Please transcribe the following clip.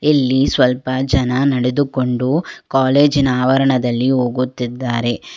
ಇಲ್ಲಿ ಸ್ವಲ್ಪ ಜನ ನಡೆದುಕೊಂಡು ಕಾಲೇಜಿನ ಆವರಣದಲ್ಲಿ ಹೋಗುತ್ತಿದ್ದಾರೆ.